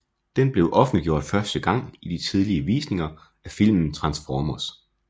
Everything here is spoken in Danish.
Den blev offentliggjort første gang i de tidlige visninger af filmen Transformers